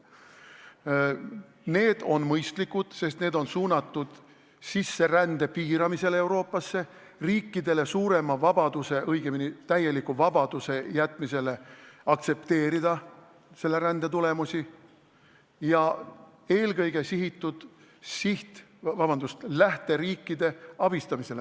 Need on mõistlikud, sest need on suunatud Euroopasse toimuva sisserände piiramisele, eesmärk on jätta riikidele suurem vabadus, õigemini täielik vabadus aktsepteerida selle rände tulemusi ja eelkõige on siht lähteriike abistada.